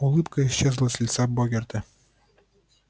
улыбка исчезла с лица богерта